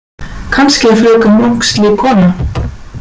Kannski er fröken Munk slík kona.